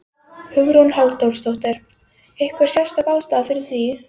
Hugrún Halldórsdóttir: Einhver sérstök ástæða fyrir því?